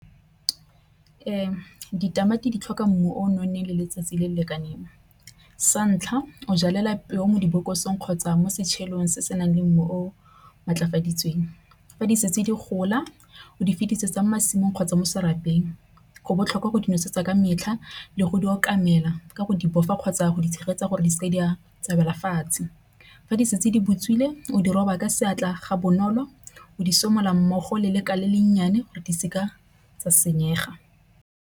Ee, ditamati di tlhoka mmu o nonneng le letsatsi le le lekaneng. Sa ntlha, o jalela peo mo dibokosong kgotsa mo se se nang le mmu o matlakaditsweng. Fa di setse di gola o di fetisetsa masimong kgotsa mo serapeng. Go botlhokwa go nosetsa ka metlha le go di o kamela ka go di boifa kgotsa go tshegetsa gore di tsa wela fatshe. Fa di setse di butswe ele o di roba ka seatla ga bonolo o di somola mmogo le le ka le le nnyane gore di se ka sa senyega.